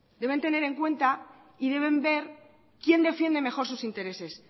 deben tener en cuenta y deben ver quién defiende mejor sus intereses